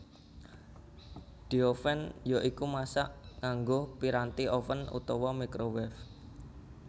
Dioven ya iku masak nganggo piranti oven utawa microwave